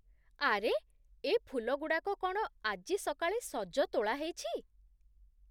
ଆରେ! ଏ ଫୁଲଗୁଡ଼ାକ କ'ଣ ଆଜି ସକାଳେ ସଜ ତୋଳାହେଇଛି?